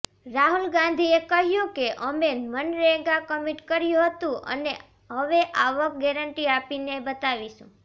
રાહુલ ગાંધીએ કહ્યું કે અમે મનરેગા કમિટ કર્યું હતું અને હવે આવક ગેરન્ટી આપીને બતાવીશું